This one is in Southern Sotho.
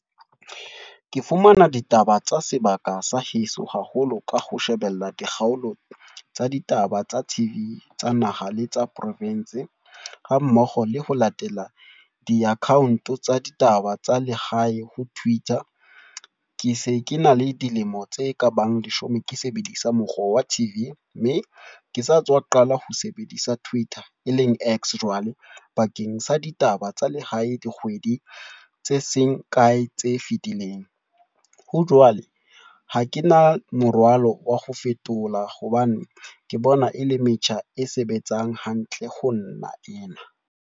Ke fumana ditaba tsa sebaka sa heso haholo, ka ho shebella dikgaolo tsa ditaba tsa T_V, tsa naha le tsa profensi. Ha mmoho le ho latela di-account tsa ditaba tsa lehae ho twitter. Ke se ke na le dilemo tse ka bang leshome ke sebedisa mokgwa wa T_V. Mme ke sa tswa qala ho sebedisa twitter e leng X. Jwale bakeng sa ditaba tsa lehae dikgwedi tse seng kae tse fetileng. Ho jwale, ha ke na morwalo wa ho fetola hobane ke bona e le metjha e sebetsang hantle ho nna ena.